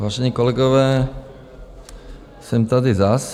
Vážení kolegové, jsem tady zas.